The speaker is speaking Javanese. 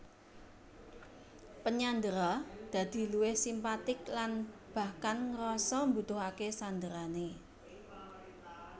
Penyandera dadi luwih simpatik lan bahkan ngrasa mbutuhake sanderane